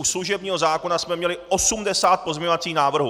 U služebního zákona jsme měli 80 pozměňovacích návrhů.